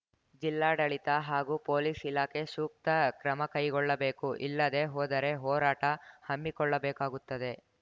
ಜಿಲ್ಲಾಡಳಿತ ಹಾಗೂ ಪೊಲೀಸ್‌ ಇಲಾಖೆ ಸೂಕ್ತ ಕ್ರಮಕೈಗೊಳ್ಳಬೇಕು ಇಲ್ಲದೇ ಹೋದರೆ ಹೋರಾಟ ಹಮ್ಮಿಕೊಳ್ಳಬೇಕಾಗುತ್ತದೆ